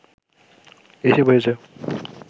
এসে বসেছে